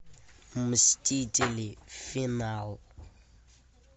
мстители финал